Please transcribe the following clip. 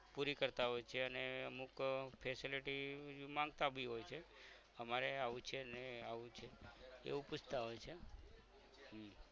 પૂરી કરતાં હોય છે અને અમુક આહ facility માંગતા બી હોય છે અમારે આવું છે ને આવું છે એવું પૂછતાં હોય છે